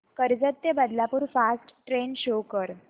कर्जत ते Badlapur fast train show कर